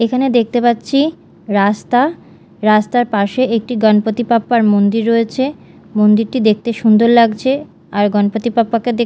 এখানে দেখতে পাচ্ছি রাস্তা রাস্তার পাশে একটি গণপতি বাপ্পার মন্দির রয়েছে মন্দিরটি দেখতে সুন্দর লাগছে আর গণপতি বাপ্পাকে দে--